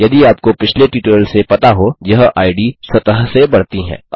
यदि आपको पिछले ट्यूटोरियल से पता हो यह इद स्वतः से बढती है